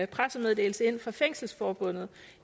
pressemeddelelse ind fra fængselsforbundet